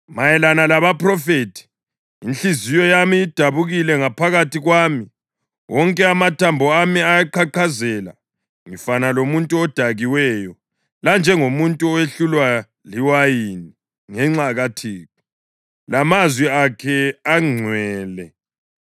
Mayelana labaphrofethi: Inhliziyo yami idabukile ngaphakathi kwami; wonke amathambo ami ayaqhaqhazela. Ngifana lomuntu odakiweyo, lanjengomuntu owehlulwa liwayini, ngenxa kaThixo lamazwi akhe angcwele.